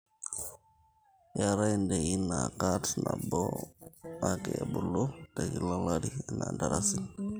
keetae ndaiki naa kat nabo ake ebulu te kila olari anaa iltarasin